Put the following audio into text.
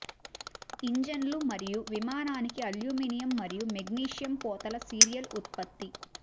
ఇంజిన్లు మరియు విమానానికి అల్యూమినియం మరియు మెగ్నీషియం పోతలు సీరియల్ ఉత్పత్తి